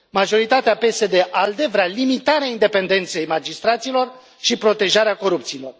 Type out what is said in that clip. Majoritatea PSD ALDE vrea limitarea independenței magistraților și protejarea corupților.